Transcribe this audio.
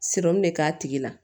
de k'a tigi la